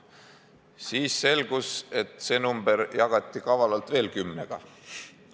Siis selgus, et see number jagati kavalalt veel kümnega.